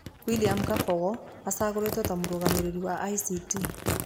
William Kabogo acagũrĩtwo ta mũrũgamĩrĩri wa ICT.